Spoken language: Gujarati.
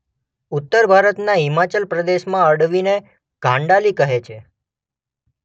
ઉત્તર ભારતના હિમાચલ પ્રદેશમાં અળવીને ઘાન્ડાલી કહે છે.